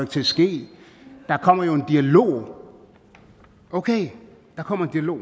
til at ske der kommer jo en dialog okay der kommer en dialog